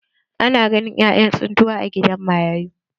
Ana ganin ƴaƴan tsintuwa a gidan marayu.